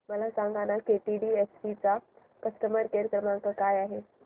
मला सांगाना केटीडीएफसी चा कस्टमर केअर क्रमांक काय आहे